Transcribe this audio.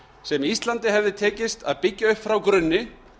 sem íslandi hefði tekist að byggja upp frá grunni